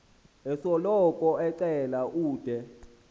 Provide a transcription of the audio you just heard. osoloko ecela ude